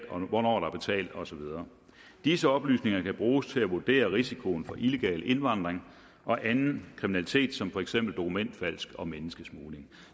hvornår der betalt og så videre disse oplysninger kan bruges til at vurdere risikoen for illegal indvandring og anden kriminalitet som for eksempel dokumentfalsk og menneskesmugling